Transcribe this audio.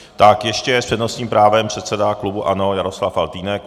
Tak ještě s přednostním právem předseda klubu ANO Jaroslav Faltýnek.